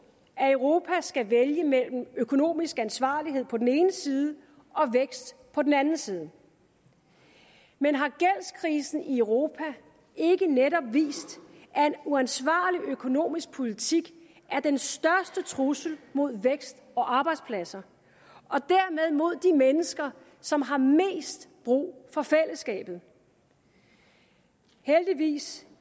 at europa skal vælge mellem økonomisk ansvarlighed på den ene side og vækst på den anden side men har gældskrisen i europa ikke netop vist at en uansvarlig økonomisk politik er den største trussel mod vækst og arbejdspladser og dermed mod de mennesker som har mest brug for fællesskabet heldigvis